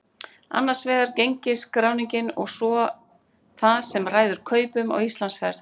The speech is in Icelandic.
Annars vegar gengisskráningin og svo það sem ræður kaupum á Íslandsferð.